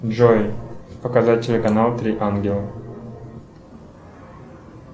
джой показать телеканал три ангела